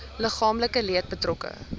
liggaamlike leed betrokke